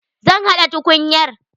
Zan haɗa tukunyar.